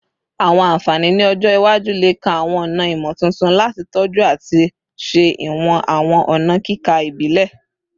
Awọn anfani ni ọjọ iwaju le kan awọn ọna imotuntun lati tọju ati ṣe iwọn awọn ọna kika ibile